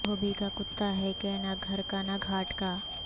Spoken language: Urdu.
دھوبی کا کتا ہے کہ نہ گھر کا نہ گھاٹ کا